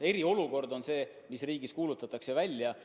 Eriolukord on see, mis riigis kuulutatakse välja.